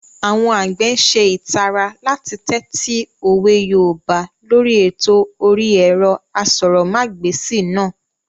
Àwọn àgbẹ̀ n ṣe ìtara láti tẹ́tí òwe yoòbá lóri ètò orí ẹ̀rọ asọ̀rọ̀mágbèsì náà